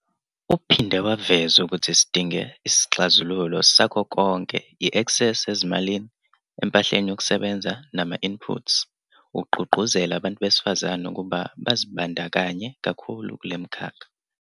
Uphinde waveza ukuthi sidinge sixazululo sakho konke - i-eksesi ezimalini, empahleni yokusebenza nama-inputs - ukugqugquzela abantu besifazane ukuba bazibandakanye kakhulu kule mikhakha.